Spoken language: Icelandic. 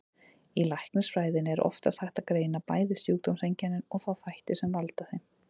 Í læknisfræðinni er oftast hægt að greina bæði sjúkdómseinkennin og þá þætti sem valda þeim.